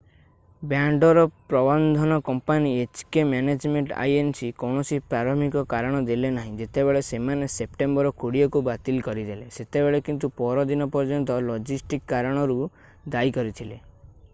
ବ୍ୟାଣ୍ଡର ପ୍ରବନ୍ଧନ company hk management inc କୌଣସି ପ୍ରାରମ୍ଭିକ କାରଣ ଦେଲେନାହିଁ ଯେତେବେଳେ ସେମାନେ ସେପ୍ଟେମ୍ବର 20 କୁ ବାତିଲ କରିଦେଲେ ସେତେବେଳେ କିନ୍ତୁ ପରଦିନ ପର୍ଯ୍ୟନ୍ତ ଲଜିଷ୍ଟିକ୍ କାରଣକୁ ଦାୟୀ କରିଥିଲେ